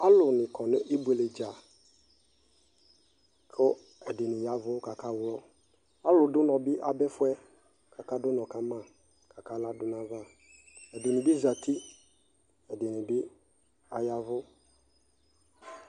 Alu ni kɔ nʋ ibuele dzaKʋ ɛdini yavʋ kakawlɔAlu dunɔ bi abɛfuɛ, kakadʋ ʋnɔ kama, kakala dʋ nayavaƐdini bi zati ɛdinibi ayavʋ